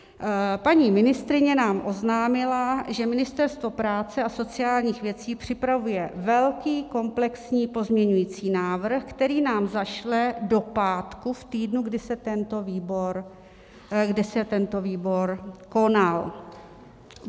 Paní ministryně nám oznámila, že Ministerstvo práce a sociálních věcí připravuje velký komplexní pozměňovací návrh, který nám zašle do pátku v týdnu, kdy se tento výbor konal.